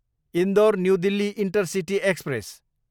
Indore, new Delhi intercity express